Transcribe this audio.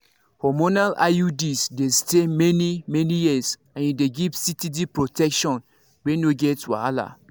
hormonal iuds dey stay many-many years and e dey give steady protection wey no get wahala.